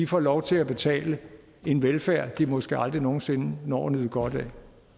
får lov til at betale en velfærd de måske aldrig nogen sinde når at nyde godt af